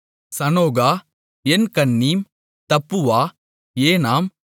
சனோகா என்கன்னீம் தப்புவா ஏனாம்